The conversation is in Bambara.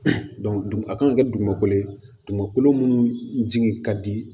a kan ka kɛ dugumakolo ye dugumɛnɛ minnu jigi ka di